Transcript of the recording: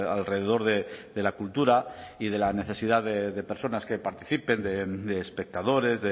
alrededor de la cultura y de la necesidad de personas que participen de espectadores